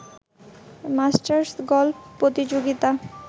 masters golf প্রতিযোগিতা